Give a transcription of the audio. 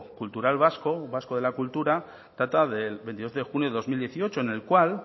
cultural vasco un vasco de la cultura trata del veintidós de junio de dos mil dieciocho en el cual